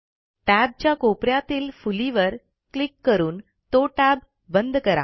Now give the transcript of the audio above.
टॅबच्या कोप यातील फुलीवर क्लिक करून तो टॅब बंद करा